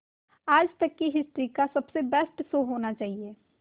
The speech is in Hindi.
आज तक की हिस्ट्री का सबसे बेस्ट शो होना चाहिए